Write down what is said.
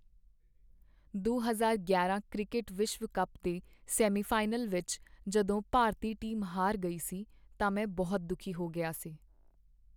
ਦੋ ਹਜ਼ਾਰ ਗਿਆਰਾਂ ਕ੍ਰਿਕਟ ਵਿਸ਼ਵ ਕੱਪ ਦੇ ਸੈਮੀਫਾਈਨਲ ਵਿੱਚ ਜਦੋਂ ਭਾਰਤੀ ਟੀਮ ਹਾਰ ਗਈ ਸੀ ਤਾਂ ਮੈਂ ਬਹੁਤ ਦੁਖੀ ਹੋ ਗਿਆ ਸੀ